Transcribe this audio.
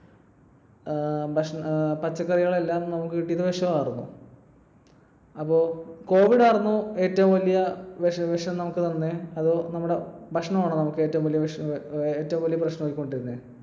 ഏർ പച്ചക്കറികൾ എല്ലാം നമുക്ക് കിട്ടിയത് വിഷാർന്നു. അപ്പോ covid ആർന്നോ ഏറ്റവും വലിയ വിഷം നമുക്ക് തന്നെ? അതോ നമ്മുടെ ഭക്ഷണമാണോ നമുക്ക് ഏറ്റവും വലിയ പ്രശ്‌നം ആക്കികൊണ്ടിരുന്നെ?